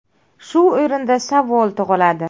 Shu o‘rinda savol tug‘iladi.